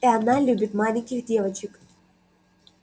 и она любит маленьких девочек